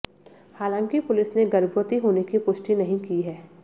हालांकि पुलिस ने गर्भवती होने की पुष्टि नहीं की है